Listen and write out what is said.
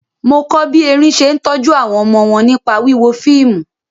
Mo kọ́ bí erin ṣe ń tọ́jú àwọn ọmọ wọn nípa wíwo fíìmù.